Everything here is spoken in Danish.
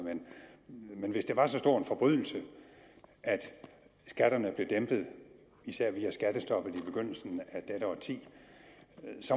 men hvis det var så stor en forbrydelse at skatterne blev dæmpet især via skattestoppet i begyndelsen af dette årti